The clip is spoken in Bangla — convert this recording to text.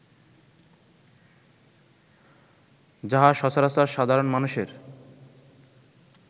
যাহা সচরাচর সাধারণ মানুষের